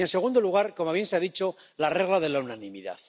Y, en segundo lugar —como bien se ha dicho— la regla de la unanimidad.